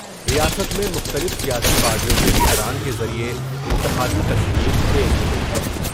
ریاست میں مختلف سیاسی پارٹیوں کے لیڈران کے ذریعے انتخابی تشہیر تیز ہو گئی ہے ۔